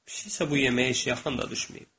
Pişik isə bu yeməyi heç yaxına da düşməyib.